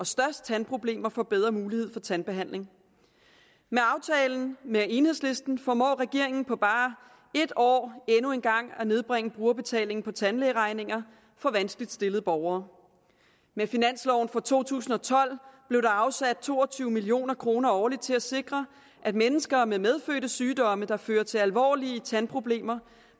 største tandproblemer får bedre mulighed for tandbehandling med aftalen med enhedslisten formår regeringen på bare et år endnu en gang at nedbringe brugerbetalingen på tandlægeregninger for vanskeligt stillede borgere med finansloven for to tusind og tolv blev der afsat to og tyve million kroner årligt til at sikre at mennesker med medfødte sygdomme der fører til alvorlige tandproblemer